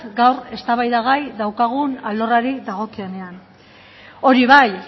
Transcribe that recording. gaur eztabaidagai daukagun alorrari dagokionean hori bai